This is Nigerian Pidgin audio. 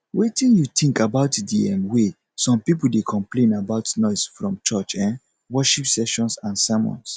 wetin you think about di um way some people dey complain about noise from church um worship sessions and sermons